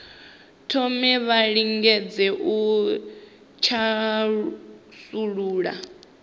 thome vha lingedze u thasulula